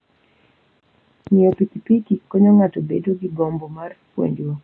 Ng'iyo pikipiki konyo ng'ato bedo gi gombo mar puonjruok.